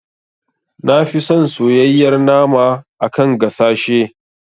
Nafi son soyayyar nama a kan gasashe.